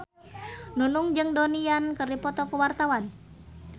Nunung jeung Donnie Yan keur dipoto ku wartawan